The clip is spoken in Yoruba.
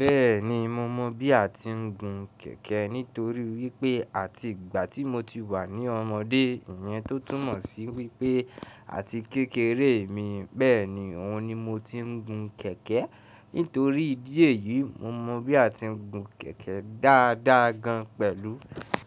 Bẹ́ẹ̀ni, mo mọ bí a ti ń gun kẹ̀kẹ́ nítorí wípé àti ìgbà tí mo ti wà ní ọmọdé, ìyẹn tó túmọ̀ sí wípẹ́ àti kékeré mi, bẹ́ẹ̀ni òun ni mo ti ń gun kẹ̀kẹ́. Nítorí ìdí èyí, mo mọ bí a ti ń gun kẹ̀kẹ́ dáadáa gan pẹ̀lú.